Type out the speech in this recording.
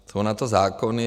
Jsou na to zákony.